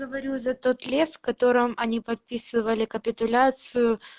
говорю же этот лес в котором они подписывали капитуляцию